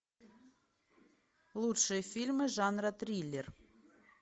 лучшие фильмы жанра триллер